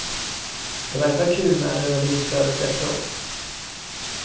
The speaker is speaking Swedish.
Det var ändå kul med adrenalinflödet efteråt.